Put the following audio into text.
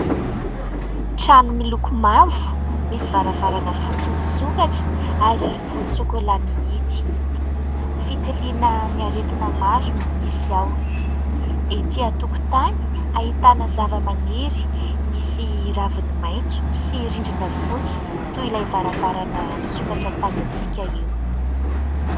Trano miloko mavo, misy varavarana fotsy misokatra ary volontsôkôla mihidy. Fitiliana ny aretina maro no misy ao, etỳ an-tokotany ahitana zavamaniry misy raviny maitso sy rindrina fotsy toy ilay varavarana misokatra tazantsika io.